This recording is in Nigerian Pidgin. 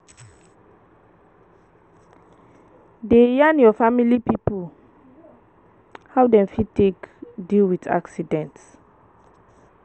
Dey yarn your family pipo how dem fit take deal with accident